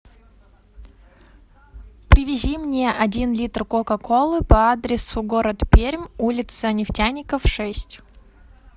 привези мне один литр кока колы по адресу город пермь улица нефтяников шесть